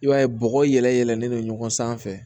I b'a ye bɔgɔ yɛlɛlen don ɲɔgɔn sanfɛ